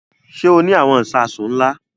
Ṣé o ní àwọn ìṣasùn ńlá?